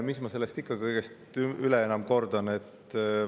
Mis ma sellest ikka kõigest enam kordan.